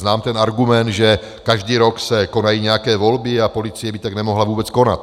Znám ten argument, že každý rok se konají nějaké volby a policie by tak nemohla vůbec konat.